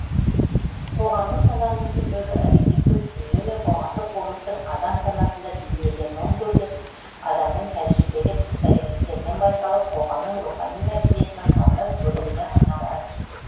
қоғамдық сананың түрлері объективтік дүние мен қоғамдық болмыстың адам санасында бейнеленуін көрсетіп адамның тәжірибелік іс әрекеттерінен байқалып қоғамның рухани мәдениетінің құрамдас бөлігіне айналады